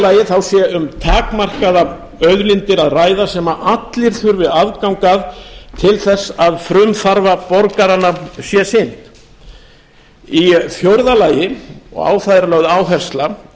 lagi sé um takmarkaðar auðlindir að ræða sem allir þurfi aðgang að til þess að frumþarfa borgaranna sé sinnt í fjórða lagi og á það er lögð áhersla